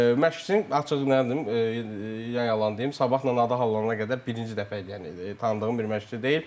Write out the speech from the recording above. Məşqçini açıq nə deyim, yalan deyim, sabahla adı hallana qədər birinci dəfə idi, yəni tanıdığım bir məşqçi deyil.